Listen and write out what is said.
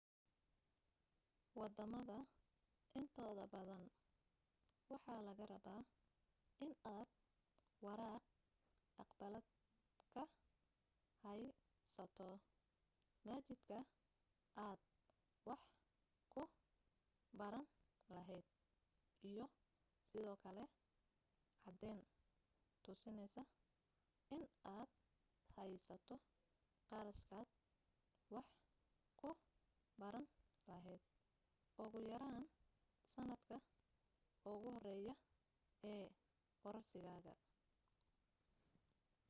waddamada intooda badan waxaa laga rabaa inaad waraaq aqbalaad ka haysato machadka aad wax ka baran lahayd iyo sidoo kale caddayn tusinaysa inaad haysato qarashkaad wax ku baran lahayd ugu yaraan sannadka ugu horeeya ee kooraskaaga